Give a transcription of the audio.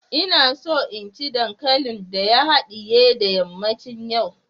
ina so in ci dankalin da ya hadiye da yammacin yau